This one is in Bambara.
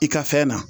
I ka fɛn na